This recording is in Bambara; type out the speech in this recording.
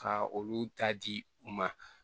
Ka olu ta di u ma